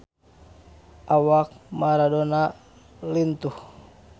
Awak Maradona lintuh